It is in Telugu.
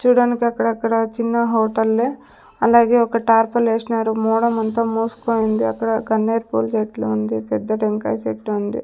చూడడానికి అక్కడక్కడ చిన్న హోటల్ లే అలాగే ఒక టార్పల్ ఎసినారు మాడం అంతా మూసుకుంది అక్కడ గన్నేరు పూల చెట్లు ఉంది పెద్ద టెంకాయ చెట్టు ఉంది.